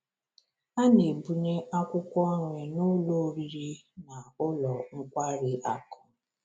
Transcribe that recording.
A na-ebunye akwụkwọ nri n’ụlọ oriri na ụlọ nkwari akụ.